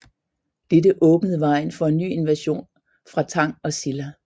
Dette åbnede vejen for en ny invasion fra Tang og Silla